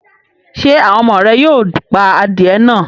Ṣé àwọn ọmọ rẹ yóò pa adìẹ náà?